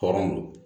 Hɔrɔn